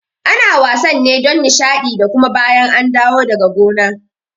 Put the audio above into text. Ana wasan ne don Nishaɗi da kuma bayan an dawo daga gona